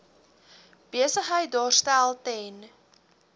besigheid daarstel ten